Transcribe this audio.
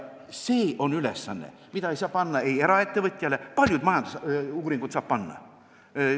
See on ülesanne, mida ei saa panna eraettevõtjatele, kuid paljude majandusuuringute tegemise ülesande saab neile panna.